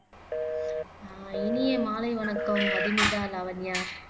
ஆஹ் இனிய மாலை வணக்கம் மதுமிதா லாவண்யா